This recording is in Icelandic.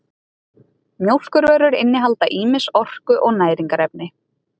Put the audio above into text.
mjólkurvörur innihalda ýmis orku og næringarefni